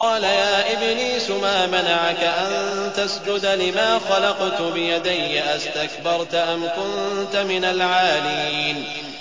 قَالَ يَا إِبْلِيسُ مَا مَنَعَكَ أَن تَسْجُدَ لِمَا خَلَقْتُ بِيَدَيَّ ۖ أَسْتَكْبَرْتَ أَمْ كُنتَ مِنَ الْعَالِينَ